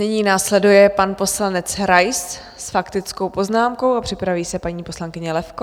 Nyní následuje pan poslanec Rais s faktickou poznámkou a připraví se paní poslankyně Levko.